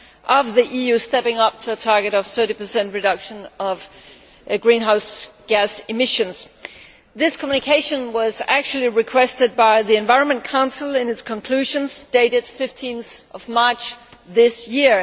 of the EU stepping up to a target of 30 reduction of greenhouse gas emissions. This communication was actually requested by the Environment Council in its conclusions dated 15 March this year.